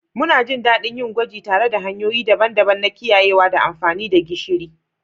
Muna jin daɗin yin gwaji tare da hanyoyi daban-daban na kiyayewa da amfani da gishiri.